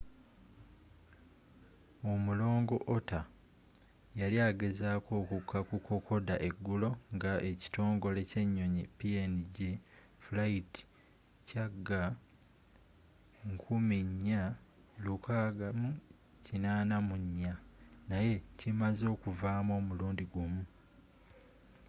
omulongo otter yali agezaako okukka ku kokoda eggulo nga ekitongole ky'ennyonyi png flight cg4684 naye kimaze okuvaamu omulundi gumu